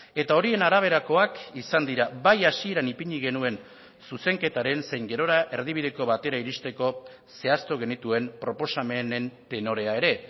eta horien araberakoak izan dira bai hasieran ipini genuen zuzenketaren zein gerora erdibideko batera iristeko zehaztu genituen proposamenen tenorea ere